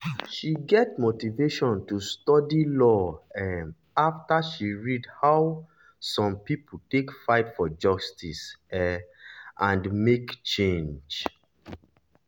she get motivation to study study law um after she read how some people take fight for justice um and make change.